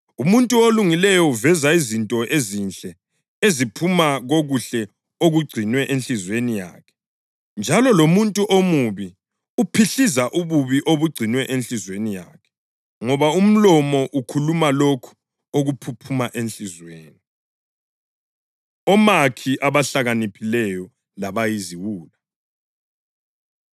Umuntu olungileyo uveza izinto ezinhle eziphuma kokuhle okugcinwe enhliziyweni yakhe, njalo lomuntu omubi uphihliza ububi obugcinwe enhliziyweni yakhe. Ngoba umlomo ukhuluma lokho okuphuphuma enhliziyweni.” Omakhi Abahlakaniphileyo Labayiziwula